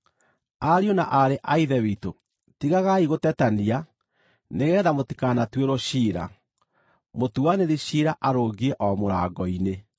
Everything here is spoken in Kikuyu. Ariũ na aarĩ a Ithe witũ, tigagai gũtetania, nĩgeetha mũtikanatuĩrwo ciira. Mũtuanĩri ciira arũngiĩ o mũrango-inĩ!